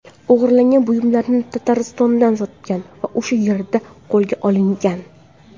O‘g‘irlangan buyumlarni Tataristonda sotgan va o‘sha yerda qo‘lga olingan.